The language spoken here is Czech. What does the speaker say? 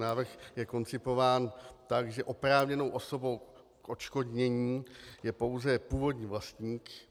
Návrh je koncipován tak, že oprávněnou osobou k odškodnění je pouze původní vlastník.